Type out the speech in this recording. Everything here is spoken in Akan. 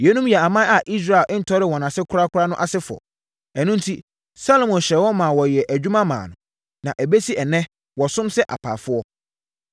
Yeinom yɛ aman a Israel ntɔree wɔn ase korakora no asefoɔ. Ɛno enti, Salomo hyɛɛ wɔn maa wɔyɛɛ adwuma maa no. Na ɛbɛsi ɛnnɛ, wɔsom sɛ apaafoɔ.